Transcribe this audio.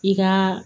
I ka